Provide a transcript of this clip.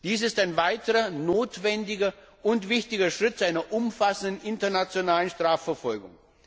Dies ist ein weiterer notwendiger und wichtiger Schritt zu einer umfassenden internationalen Strafverfolgung.